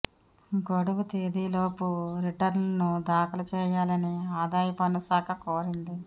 గడువు తేదీలోపు రిటర్నులను దాఖలు చేయాలని ఆదాయ పన్ను శాఖ కోరింది